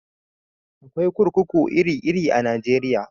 Akwai kurkuku iri iri a Najeriya